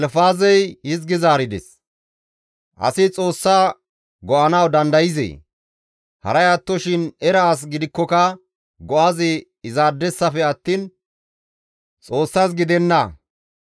«Asi Xoossa go7anawu dandayzee? Haray attoshin era as gidikkoka go7azi izaadesafe attiin Xoossas gidenna.